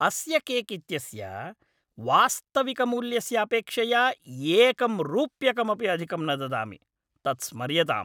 अस्य केक् इत्यस्य वास्तविकमूल्यस्य अपेक्षया एकं रूप्यकमपि अधिकं न ददामि। तत् स्मर्यताम्!